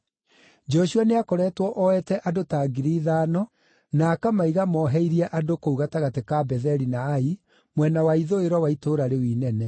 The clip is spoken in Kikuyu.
Joshua nĩakoretwo oete andũ ta 5,000 na akamaiga moheirie andũ kũu gatagatĩ ka Betheli na Ai, mwena wa ithũĩro wa itũũra rĩu inene.